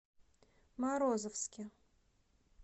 морозовске